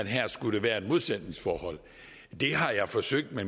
her skulle være et modsætningsforhold jeg har forsøgt at